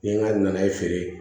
N ye n ka naye feere